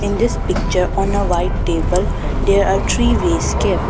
In this picture on a white table there are three vase kept.